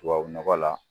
Tubabu nɔgɔ la